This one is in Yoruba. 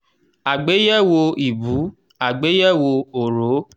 àgbéyẹ̀wò ìbú àgbéyẹ̀wò òòró.